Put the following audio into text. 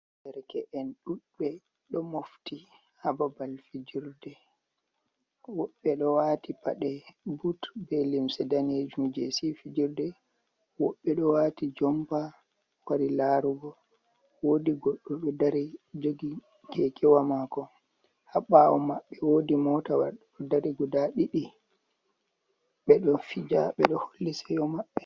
Derke’en ɗuɗɓe ɗo mofti ha babal fijerde woɓɓe ɗo wati paɗe but be limse danejum je se fijirde, woɓɓe ɗo wati jompa wari larugo woɗi goɗɗo ɗo dari jogi kekewa mako ha ɓawo maɓɓe, wodi mota wa ɗo dari guda ɗiɗi ɓeɗo fija ɓe ɗo holli seyo maɓɓe.